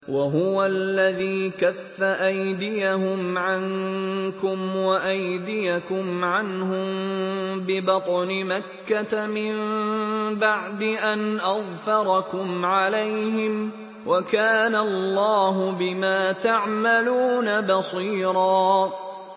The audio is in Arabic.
وَهُوَ الَّذِي كَفَّ أَيْدِيَهُمْ عَنكُمْ وَأَيْدِيَكُمْ عَنْهُم بِبَطْنِ مَكَّةَ مِن بَعْدِ أَنْ أَظْفَرَكُمْ عَلَيْهِمْ ۚ وَكَانَ اللَّهُ بِمَا تَعْمَلُونَ بَصِيرًا